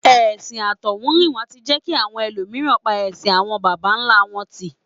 Ẹ̀sìn àtọ̀húnrìnwá tí jẹ́ kí àwọn ẹlòmíràn pa ẹṣin àwọn bàbá ńlá wọn tì